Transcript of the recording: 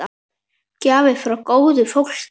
Gjafir frá góðu fólki.